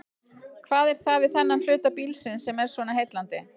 Hvað er það við þennan hluta bílsins sem er svona heillandi?